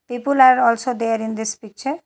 People are also there in this picture.